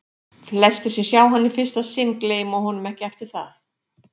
Flestir, sem sjá hann í fyrsta sinn, gleyma honum ekki eftir það.